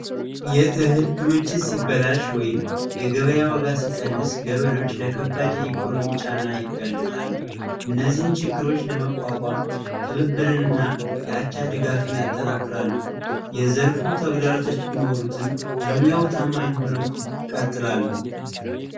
የእህል ሲቀንስክምችት ሲበላሽ/ ገበሬዎች የኢኮኖሚ እነዚህን ችግሮች ለመቋቋም ብብብንና የአቻ ድጋሚ ያጠናክራሉ የዘርፉ ተግዳሮቶች ቢኖሩትም ለሙያው ታማኝ ሆነው